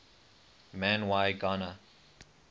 man y gana